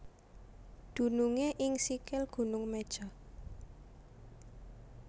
Dunungé ing sikil Gunung Meja